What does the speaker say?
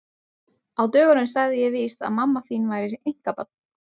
Á dögunum sagði ég víst að mamma þín væri einkabarn.